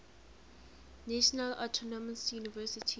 national autonomous university